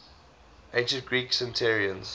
ancient greek centenarians